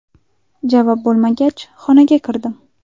Javob bo‘lmagach, xonaga kirdim.